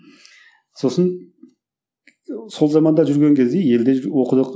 сосын сол заманда жүрген кезде елде оқыдық